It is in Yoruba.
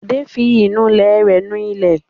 Bọ̀dé fi ìnulẹ̀ rẹ̀ nu ilẹ̀.